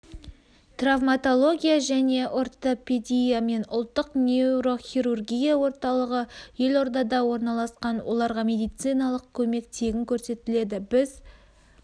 травматология және ортепедия мен ұлттық нейрохирургия орталығы елордада орналасқан оларға медициналық көмек тегін көрсетіледі біз